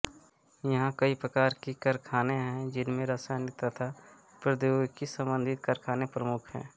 यहा कई प्रकार की कारखाने है जिनमे रसायन तथा प्रोध्योगिकी सम्बन्धित कारखाने प्रमुख है